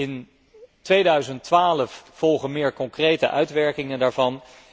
In 2012 volgen meer concrete uitwerkingen daarvan.